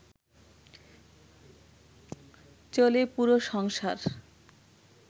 চলে পুরো সংসার